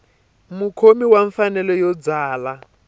mukhomi wa mfanelo yo byala